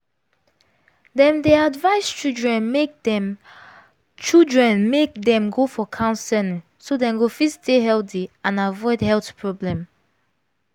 dem dey advise children make dem children make dem go for counseling so dem go fit stay healthy and avoid health problem